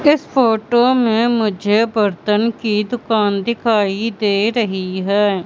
इस फोटो में मुझे बर्तन की दुकान दिखाई दे रही हैं।